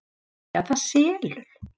Af því að það selur.